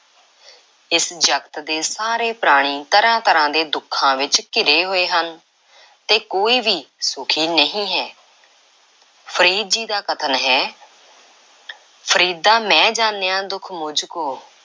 ਇਸ ਜਗਤ ਦੇ ਸਾਰੇ ਪ੍ਰਾਣੀ ਤਰ੍ਹਾਂ–ਤਰ੍ਹਾਂ ਦੇ ਦੁੱਖਾਂ ਵਿੱਚ ਘਿਰੇ ਹੋਏ ਹਨ ਤੇ ਕੋਈ ਵੀ ਸੁਖੀ ਨਹੀਂ ਹੈ। ਫ਼ਰੀਦ ਜੀ ਦਾ ਵੀ ਕਥਨ ਹੈ ਫਰੀਦਾ ਮੈਂ ਜਾਨਿਆ ਦੁਖ ਮੁਝ ਕੂ